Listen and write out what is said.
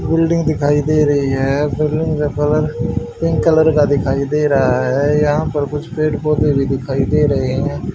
Building दिखाई दे रही है बिल्डिंग का कलर पिंक कलर का दिखाई दे रहा है यहां पर कुछ पेड़ पौधे भी दिखाई दे रहे हैं।